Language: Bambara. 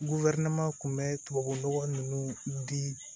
kun bɛ tubabu nɔgɔ ninnu di